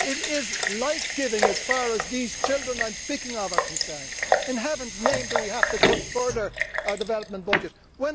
It is life giving as far as these children I am speaking of are concerned. In heaven's name, do we have to cut our development budget further?